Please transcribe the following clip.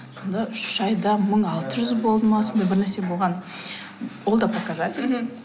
сонда үш айда мың алты жүз болды ма сондай бір нәрсе болған ол да показательный мхм